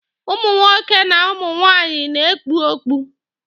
Ụmụ nwoke na ụmụ nwaanyị na-ekpu okpu.